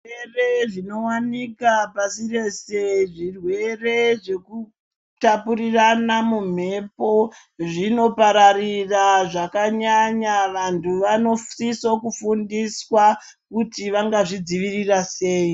Zvirwere zvinowanikwa pashi rese zvirwere zvekutapurirana mumhepo zvinopararira zvakanyanya. Vantu vanosisa kufundiswa kuti vangazvi dzivirira sei.